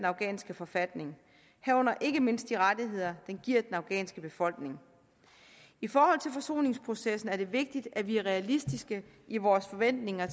afghanske forfatning herunder ikke mindst de rettigheder den giver den afghanske befolkning i forhold til forsoningsprocessen er det vigtigt at vi er realistiske i vores forventninger